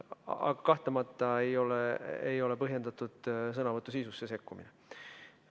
Aga kahtlemata ei ole põhjendatud sõnavõtu sisusse sekkumine.